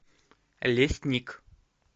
лесник